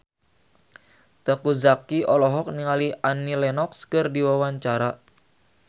Teuku Zacky olohok ningali Annie Lenox keur diwawancara